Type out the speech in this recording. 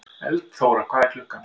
Eldþóra, hvað er klukkan?